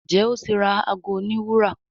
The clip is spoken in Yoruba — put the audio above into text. Njé o tí ra àgọ òní wúrà.